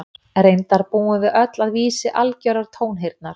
Reyndar búum við öll að vísi algjörrar tónheyrnar.